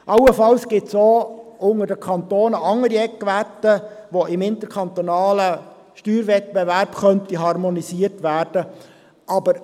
Allenfalls gibt es in einem Kanton auch andere Eckwerte, welche im interkantonalen Steuerwettbewerb harmonisiert werden könnten.